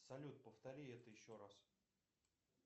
салют повтори это еще раз